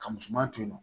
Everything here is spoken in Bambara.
Ka musoman to yen nɔ